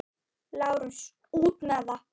LÁRUS: Út með það!